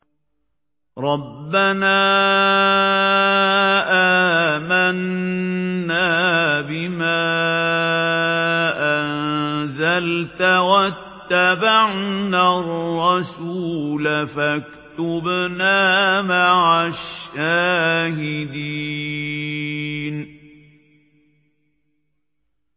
رَبَّنَا آمَنَّا بِمَا أَنزَلْتَ وَاتَّبَعْنَا الرَّسُولَ فَاكْتُبْنَا مَعَ الشَّاهِدِينَ